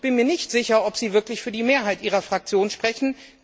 Ich bin mir nicht sicher, ob Sie wirklich für die Mehrheit Ihrer Fraktion sprechen.